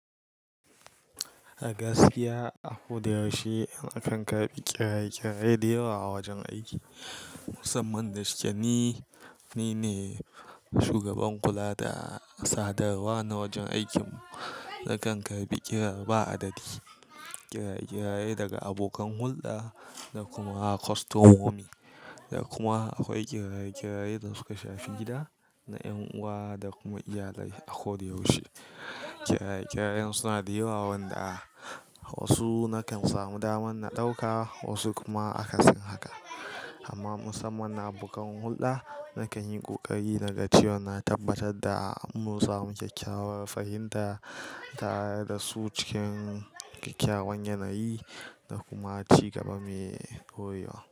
A gaskiya, a ko da yaushe an kan karbi kiraye-kiraye da yawa a wajen aiki. Musamman da shi ke ni, ni ne shugaban kula da sadarwa na wajen aikin mu. Nakan karɓi kira ba adadi, kiraye-kiraye daga abokan hulɗa da kuma kostomomi, da kuma akwai kiraye-kirayen da suka shafi gida na ƴan'uwa da kuma iyalai a ko da yaushe. Kiraye-kirayen suna da yawa wanda wasu nakan samu daman na ɗauka wasu kuma akan siya haka. Amma musamman na abokan hulɗa, nakan yi ƙoƙari na ga ce wa na tabbatar da mun samu kyakkyawar fahimta tare da su cikin kyakkyawan yanayi da kuma ci gaba mai koyuwa.